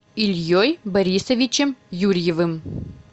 ильей борисовичем юрьевым